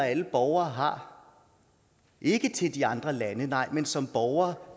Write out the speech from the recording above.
alle borgere har ikke til de andre lande nej men som borgere